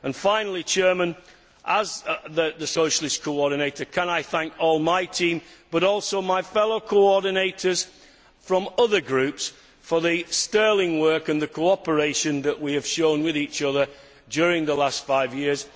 Finally, as the Socialist coordinator, can I thank all my team, but also my fellow coordinators from other groups for the sterling work and the cooperation that we have shared with each other during the last five years.